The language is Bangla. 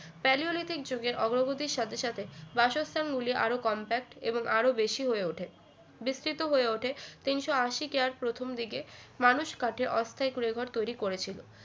Palaeolithic যুগের অগ্রগতির সাথে সাথে বাসস্থানগুলি আরো compact এবং আরো বেশি হয়ে ওঠে বিস্তিত হয়ে ওঠে তিনশো আশি কেয়ার প্রথম দিকে মানুষ কাঠে অস্থায়ী কুড়ে ঘর তৈরি করেছিল